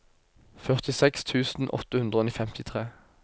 førtiseks tusen åtte hundre og femtitre